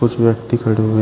उस व्यक्ति का रूम है।